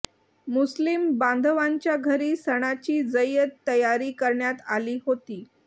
मुुस्लिम बांधवांच्या घरी सणाची जय्यद तयारी करण्यात आली होती